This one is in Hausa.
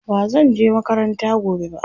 bazan je makaranta gobe ba